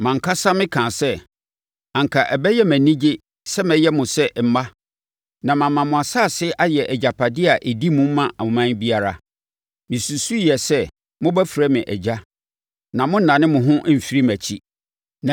“Mʼankasa mekaa sɛ, ‘Anka ɛbɛyɛ me anigye sɛ mɛyɛ mo sɛ mma na mama mo asase a ɛyɛ, agyapadeɛ a ɛdi mu ma ɔman biara.’ Mesusuiɛ sɛ mobɛfrɛ me ‘Agya’ na monnane mo ho mfiri mʼakyi.